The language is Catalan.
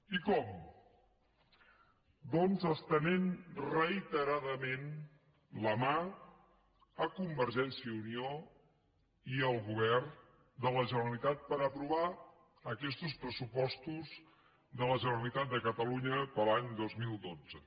i com doncs estenent reiteradament la mà a convergència i unió i al govern de la generalitat per aprovar aquestos pressupostos de la generalitat de catalunya per a l’any dos mil dotze